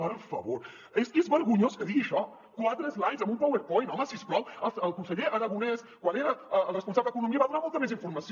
per favor és que és vergonyós que digui això quatre slides amb un powerpoint home si us plau el conseller arago·nès quan era el responsable d’economia va donar molta més informació